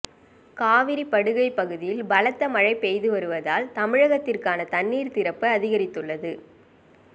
காவிரி படுகை பகுதியில் பலத்த மழை பெய்து வருவதால் தமிழகத்திற்கான தண்ணீர் திறப்பு அதிகரித்துள்ளது